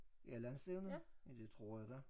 Ja landsstævnet? Ja det tror jeg da